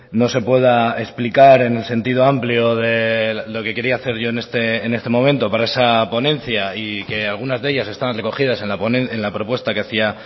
no se pueda explicar en el sentido amplio de lo que quería hacer yo en este momento para esa ponencia y que algunas de ellas están recogidas en la propuesta que hacía